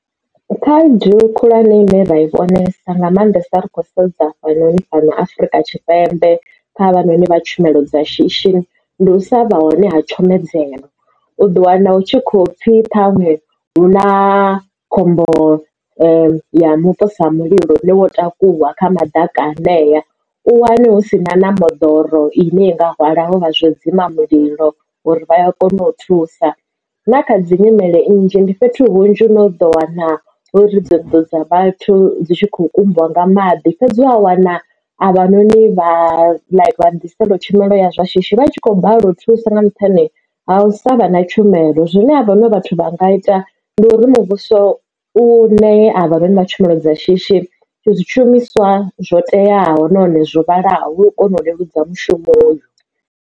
Khaedu khulwane ine ra i konesa nga maanḓesa ri khou sedza fhanoni fhano afrika tshipembe kha havha noni vha tshumelo dza shishi ndi u sa vha hone ha tshomedzo. U ḓo wana u tshi kho pfhi khanwe hu na khombo ya mupo sa mulilo une wo takuwa kha madakani hanea u wane husina na moḓoro ine i nga hwala avha vha zwo dzima mulilo lune vha ya kona u thusa na kha dzi nyimele nnzhi ndi fhethu hunzhi no ḓo wana uri ri dzo ḓo dza vhathu dzi tshi khou kumbiwa nga maḓi fhedzi wa wana avha noni vha ḓisela tshumelo ya shishi vhatshi kho balelwa u thusa nga nṱhani ha u sa vha na tshumelo zwine ha vhano vhathu vha nga ita ndi uri muvhuso u ṋee a vha vha tshumelo dza shishi tshi zwishumiswa zwo teaho nahone zwo vhalaho u kona u leludza mushumo uyu.